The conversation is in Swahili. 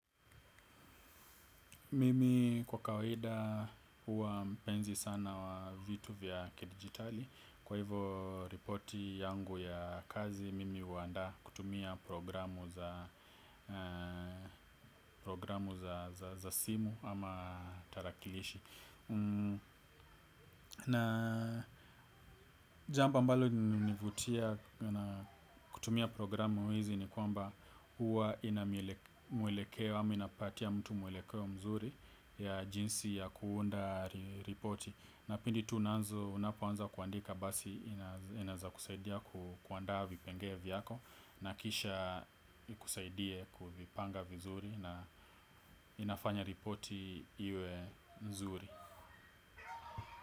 Mimi kwa kawahida huwa mpenzi sana wa vitu vya kidijitali. Kwa hivo ripoti yangu ya kazi, mimi huandaa kutumia programu za simu ama tarakilishi. Na jambo ambalo hunivutia kutumia programu hizi ni kwamba huwa ina mwelekeo ama inapatia mtu mwelekeo mzuri, ya jinsi ya kuunda ripoti na pindi tu unpanza kuandika basi inaweza kusaidia kuandaa vipengele vyako na kisha ikusaidie kuvipanga vizuri na inafanya ripoti iwe nzuri.